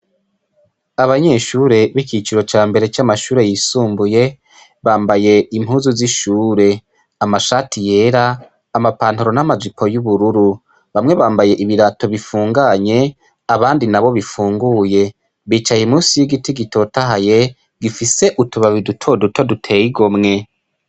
Abanyeshure b'iciciro ca mbere c'amashure yisumbuye bambaye impuzu z'ishure, amashati yera amapantaro n'amajipo y'ubururu, bamwe bambaye ibirato bifunganye abandi nabo bifunguye bicaye musi y'igiti gitotahaye gifise utubabi duto duto duteye igomwe.